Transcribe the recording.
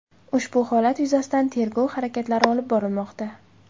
Ushbu holat yuzasidan tergov harakatlari olib borilmoqda.